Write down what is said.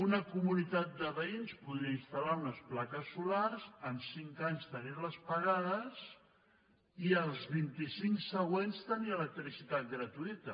una comunitat de veïns podria instal·lar unes plaques solars en cinc anys tenir les pagades i els vint i cinc següents tenir electricitat gratuïta